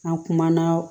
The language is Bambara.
An kumana